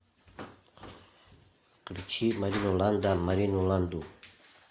включи марину ланда марину ланду